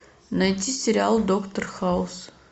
найти сериал доктор хаус